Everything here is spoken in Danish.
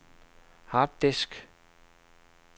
harddisk